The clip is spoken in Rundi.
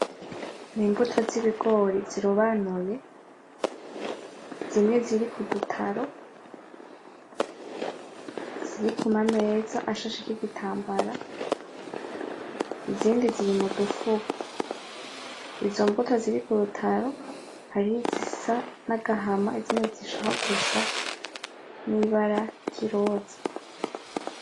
N'Imbuto z'Ibigori zirobanuye, zimwe ziri kudutaro ziri kumameza ashasheko igitambara, izindi ziri mudufuko izo mbuto ziri kurutaro hari izisa nagahama, n'izindi zishaka gusa n'Ibara ryiroza.